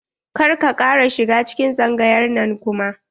Kar ka kara shiga cikin tsangayar nan kuma.